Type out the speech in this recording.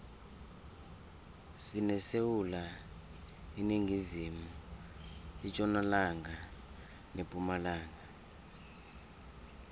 sinesewula iningizimu itjonalanga nepumalanga